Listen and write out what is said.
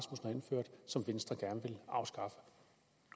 som venstre gerne vil afskaffe